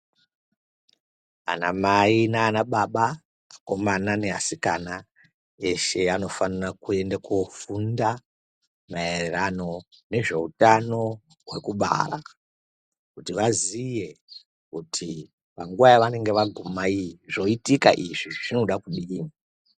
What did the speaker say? Anamai nana baba, akomana neasikana eshe anofanira kuenda kofunda maererano nezveutano hwekubara kuti vaziye kuti panguva yavanenge vaguma iyi zvoitika izvi zvinoda kudini.